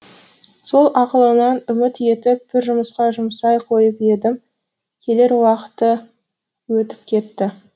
сол ақылынан үміт етіп бір жұмысқа жұмсай қойып едім келер уақыты өтіп кетті